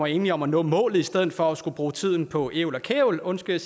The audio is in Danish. enig om at nå målet i stedet for at skulle bruge tiden på ævl og kævl undskyld